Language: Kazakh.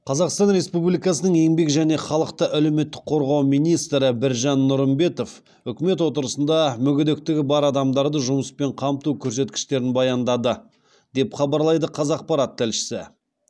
қазақстан республикасының еңбек және халықты әлеуметтік қорғау министрі біржан нұрымбетов үкімет отырысында мүгедектігі бар адамдарды жұмыспен қамту көрсеткіштерін баяндады деп хабарлайды қазақпарат тілшісі